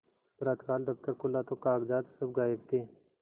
प्रातःकाल दफ्तर खुला तो कागजात सब गायब थे